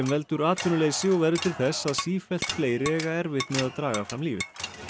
veldur atvinnuleysi og verður til þess að sífellt fleiri eiga erfitt með að draga fram lífið